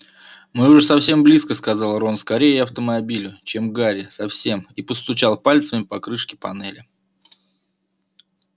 мы уже совсем близко сказал рон скорее автомобилю чем гарри совсем и постучал пальцами по крышке панели